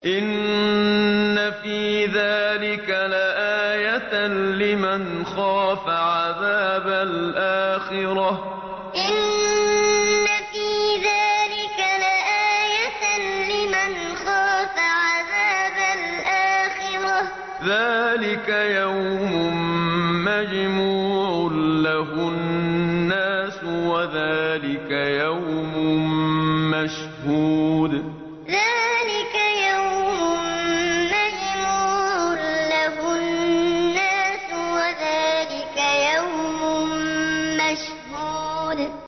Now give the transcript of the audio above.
إِنَّ فِي ذَٰلِكَ لَآيَةً لِّمَنْ خَافَ عَذَابَ الْآخِرَةِ ۚ ذَٰلِكَ يَوْمٌ مَّجْمُوعٌ لَّهُ النَّاسُ وَذَٰلِكَ يَوْمٌ مَّشْهُودٌ إِنَّ فِي ذَٰلِكَ لَآيَةً لِّمَنْ خَافَ عَذَابَ الْآخِرَةِ ۚ ذَٰلِكَ يَوْمٌ مَّجْمُوعٌ لَّهُ النَّاسُ وَذَٰلِكَ يَوْمٌ مَّشْهُودٌ